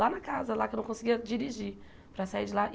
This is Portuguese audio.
Lá na casa, lá que eu não conseguia dirigir para sair de lá.